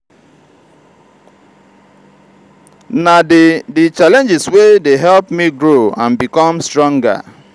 na di di challenges wey dey help me grow and become stronger.